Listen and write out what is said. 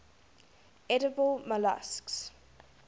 edible molluscs